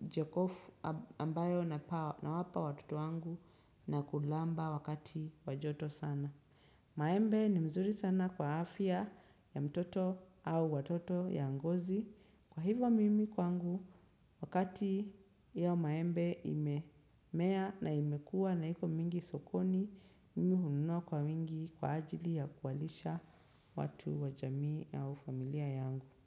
jokofu ambayo nawapa watoto wangu na kulamba wakati wa joto sana. Maembe ni mzuri sana kwa afya ya mtoto au watoto ya ngozi kwa hivyo mimi kwangu wakati ya maembe imemea na imekua na iko mingi sokoni mimi hununua kwa wingi kwa ajili ya kuwalisha watu wa jamii au familia yangu.